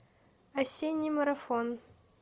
осенний марафон